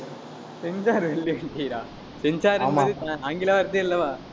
censor censor என்பது ஆங்கில வார்த்தை அல்லவா